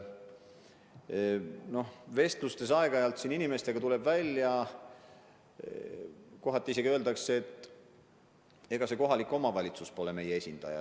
Inimestega vesteldes on aeg-ajalt välja tulnud, et arvatakse, et ega kohalik omavalitsus pole meie esindaja.